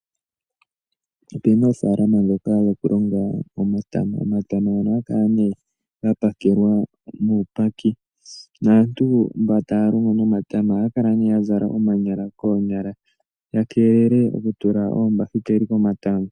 Opena oofalalama ndhoka dhokulonga omatama. Omatama ohaga kala nee ga pakelwa muupaki naantu mba taya longo nomatama ohaya kala ya zala omanyala koonyala. Ya keelele oku tula oombahiteli komatama.